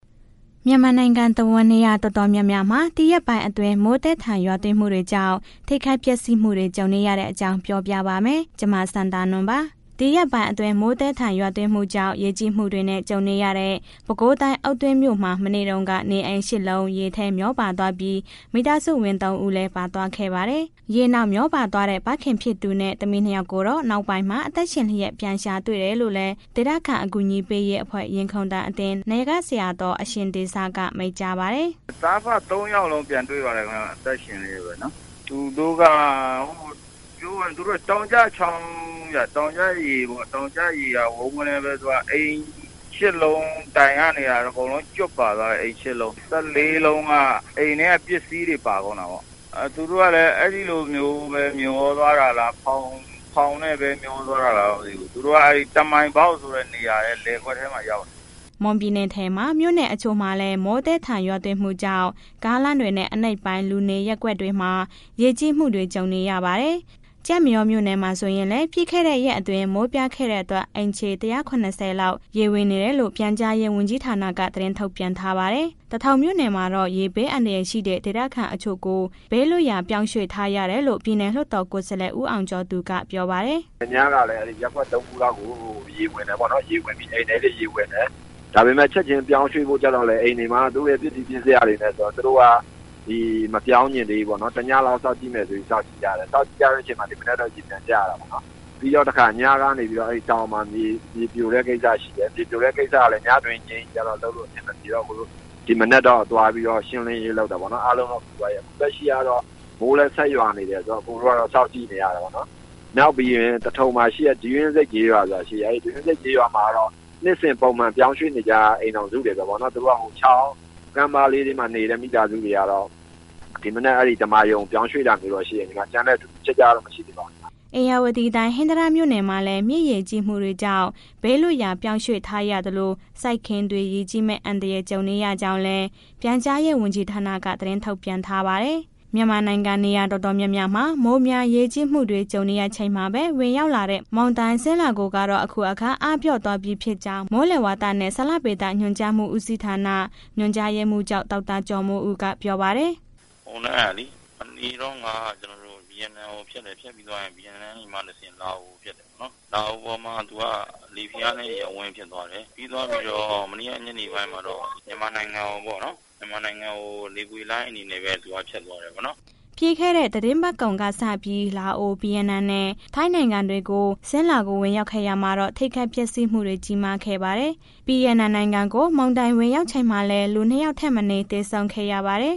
မြန်မာနိုင်ငံတဝန်း နေရာတော်တော်များများမှာ ဒီရက်ပိုင်းအတွင်း မိုးသည်းထန် ရေကြီးမှုတွေကြောင့် ထိခိုက်ပျက်စီးမှုတွေ ကြုံနေရတဲ့အကြောင်းကို ဗွီအိုအေမြန်မာပိုင်းသတင်းထောက် မစန္ဒာနွန်က ပြောပြပေးပါမယ်။ ဒီရက်ပိုင်းအတွင်း မိုးသည်းထန်ရွာသွန်းမှုကြောင့် ရေကြီးမှုတွေနဲ့ ကြုံခဲ့ရတဲ့ ပဲခူးတိုင်းအုတ်တွင်းမြို့မှာ မနေ့တုန်းက နေအိမ် ရှစ် လုံး ရေထဲမျောပါသွားပြီး မိသားစုဝင် သုံး ဦးလည်း ပါသွားခဲ့ပါတယ်။ ရေနောက် မျောပါသွားတဲ့ ဖခင်ဖြစ်သူနဲ့သမီး နှစ် ယောက်ကိုတော့ နောက်ပိုင်းမှာ အသက်ရှင်လျက် ပြန်ရှာတွေ့တယ်လို့လည်း ဒေသခံအကူအညီပေးရေးအဖွဲ့ရင်ခုန်သံအသင်း နာယကဆရာတော်အရှင်တေဇကမိန့်ကြားပါတယ်။ “သားအဖ သုံးယောက်လုံးပြန်တွေ့ပြီး အသက်ရှင်လျက်ပဲနော်။ သူတို့က တောင်ကျချောင်းက တောင်ကျရေကို ဝုန်းကနဲ အိမ် ရှစ် လုံးတိုင်ကရော အကုန်လုံးကျွတ်ပါသွားတယ်။ အိမ် ရှစ်လုံး ၁၄ လုံးက အိမ်ထဲက ပစ္စည်းတွေပါသွားတယ်။ သူတို့ အဲ့ဒီလိုမျိုး မျောသွားတာလားဖောင်နဲ့ မျောတာလား မသိဘူး၊ သူတို့က တမံပေါက်ဆိုတဲ့နေရာလယ်ကွက်ထဲမှာ ရောက်နေတယ်။’’ မွန်ပြည်နယ်ထဲက မြို့နယ်တချို့မှာလည်း မိုးသည်းထန်မှုကြောင့် ကားလမ်းတွေနဲ့ အနိမ့်ပိုင်း လူနေရပ်ကွက်တွေမှာ ရေကြီးမှုတွေ ကြုံနေရပါတယ်။ ကျိုက်မရောမြို့မှာ ဆိုရင်လည်း ပြီးခဲ့တဲ့ရက်တွေအတွင်း မိုးပြားခဲ့တဲ့အတွက် အိမ်ခြေ ၁၇၀ လောက် ရေဝင်နေတယ်လို့ ပြန်ကြားရေးဝန်ကြီးဌာနက သတင်းထုတ်ပြန်ထားပါတယ်။ သထုံမြို့နယ်မှာတော့ ရေဘေးအန္တရာယ်ရှိတဲ့ ဒေသခံတချို့ကို ဘေးလွတ်ရာ ပြောင်းရွှေ့ပေးထားရတယ်လို့ ပြည်နယ်လွှတ်တော်ကိုယ်စားလှယ် ဦးအောင်ကျော်က ပြောပါတယ်။ “ရပ်ကွက် သုံးခုလောက်ကို ရေဝင်တယ်ပေါ့နော်၊ အိမ်ထဲမှာရေဝင်တယ်။ ဒါပေမဲ့ ချက်ချင်းပြောင်းရွှေ့ဖို့ကျတော့လည်း အိမ်တွေမှာ သူတို့က ပစ္စည်းပစ္စယတွေနဲ့ဆိုတော့ သူတို့ကမပြောင်းချင်သေးဘူးပေါ့နော်။ တစ်ညလောက်စောင့်ဆိုပြီး စောင့်ကြည့်တယ်၊ စောင့်နေတဲ့အချိန်မှာ ဒီမနက်ကရေပြန်ကျတယ်၊ နောက်တစ်ခါ တောင်မှာမြေပြိုတဲ့ ကိစ္စရှိတယ်၊ ညတွင်းကြီးသွားဖို့ အဆင်အပြေဖို့ ဒီမနက်ပဲ ရှင်းလင်းရေးလုပ်တယ်။ လက်ရှိကတော့ မိုးလည်းဆက်ရွက်နေတယ်။ အစ်ကိုတို့က စောင့်ကြည့်နေရတယ်ပေါ့နော်။ နောက်ပြီးရင် သထုံမှာရှိတဲ့ ဒူးရင်းဆိပ်ကျေးရွာ အဲ့ဒူးရင်းဆိပ်ကျေးရွာက နှစ်စဉ်ပုံမှန် အပြောင်းရွှေ့နေကြအိမ်ထောင်စုတွေပေါ့။ ချောင်းတွေ ကမ်းလေးတွေနေတဲ့ မိသားစုတွေ ဒီမနက် သမ္မာရုံကိုပြောင်းရွှေ့တာမျိုးတော့ရှိတယ်။ ကျန်တဲ့ထူးထူးခြားခြားတော့ မရှိသေးပါဘူး။” ဧရာဝတီတိုင်း ဟင်္သာတမြို့နယ်မှာလည်း မြစ်ရေကြီးမှုတွေကြောင့် ဘေးလွတ်ရာပြောင်းရွှေ့ပေးထားရသလို စိုက်ခင်းတွေ ရေကြီးမယ့်အန္တရာယ် ကြုံနေရကြောင်းလည်း ပြန်ကြားရေးဝန်ကြီးဌာနက သတင်းထုတ်ပြန်ထားပါတယ်။ မြန်မာနိုင်ငံ နေရာတော်တော်များများမှာ မိုးများရေကြီးမှုတွေ ကြုံနေရချိန်မှာပဲ ဝင်ရောက်လာတဲ့ မုန်တိုင်း Sinlaku ကတော့ အခုအခါ အားပျော့သွားပြီဖြစ်ကြောင်း မိုးလေဝသနဲ့ ဇလဗေဒညွှန်ကြားမှုဦးစီးဌာန ညွှန်ကြားရေးမှူးချုပ် ဒေါက်တာကျော်မိုးဦးကပြောပါတယ်။ “မုန်တိုင်းကလေ မနေ့တုန်းက ဗီယက်နမ်ကို ဖြတ်တယ်ဖြတ်ပြီးသွားရင် ဗီယက်နမ်ကတဆင့် လာအိုကိုဖြတ်တယ်ပေါ့နော်။ လာအိုပေါ်မှာ လေဖိအားနည်း ရပ်ဝန်း ဖြစ်သွားတယ်။ ပြီးသွားပြီးတော့ မနေ့ကညနေပိုင်းမှာတော့ မြန်မာနိုင်ငံကို လေကွေ့လှိုင်းအနေနဲ့ပဲ သူကဖြစ်သွားတယ်ပေါ့နော်။” ပြီးခဲ့တဲ့ သီတင်းပတ်ကုန်ကစပြီး လာအို၊ ဗီယက်နမ်နဲ့ ထိုင်းနိုင်ငံတွေကို Sinlaku ဝင်ရောက်ခဲ့ရာမှာတော့ ထိခိုက်ပျက်စီးမှုတွေ ကြီးမားခဲ့ပါတယ်။ ဗီယက်နမ်နိုင်ငံကို မုန်တိုင်း ဝင်ရောက်ချိန်မှာလည်း လူ နှစ် ယောက်ထက်မနည်း သေဆုံးခဲ့ပါတယ်